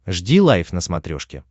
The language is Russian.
жди лайв на смотрешке